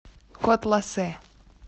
котласе